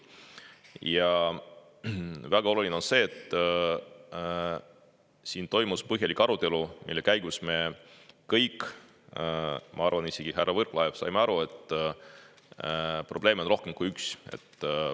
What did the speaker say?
Ja on väga oluline, et siin toimus põhjalik arutelu, mille käigus me kõik – ma arvan, isegi härra Võrklaev – saime aru, et probleeme on rohkem kui üks.